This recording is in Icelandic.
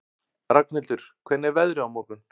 Ragnhildur, hvernig er veðrið á morgun?